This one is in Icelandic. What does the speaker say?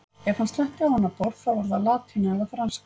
Ef hann sletti á annað borð, þá var það latína eða franska.